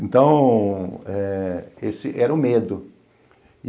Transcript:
Então, eh esse era o medo.